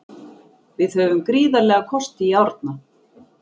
Við höfum gríðarlega kosti í Árna.